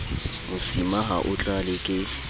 mosima ha o tlale ke